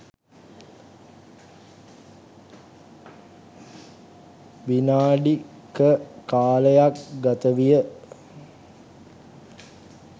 විනාඩි ක කාලයක් ගතවිය